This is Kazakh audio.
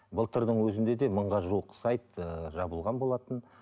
былтырдың өзінде де мыңға жуық сайт ыыы жабылған болатын